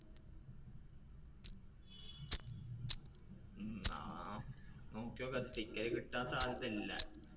ആ നോക്കി നോക്കാം ticket കിട്ടാൻ സാധ്യത ഇല്ല.